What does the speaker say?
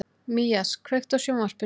Mías, kveiktu á sjónvarpinu.